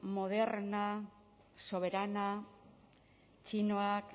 moderna soberana txinoak